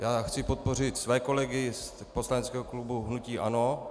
Já chci podpořit své kolegy z poslaneckého klubu hnutí ANO.